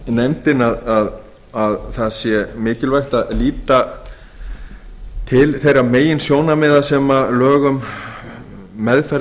nefndin að það sé mikilvægt að líta til gerir meginsjónarmiða sem lög um meðferð